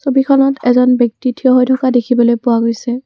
ছবিখনত এজন ব্যক্তি থিয় হৈ থকা দেখিবলৈ পোৱা গৈছে।